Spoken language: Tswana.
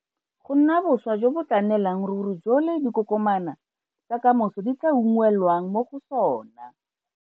Go nna boswa jo bo tla nnelang ruri jo le dikokoma tsa ka moso di tla unngwelwang mo go sona.